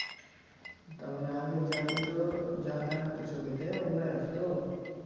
তার মানে আগে যা দিত, যা দেখাত ছবিতে ওগুলাই আসত?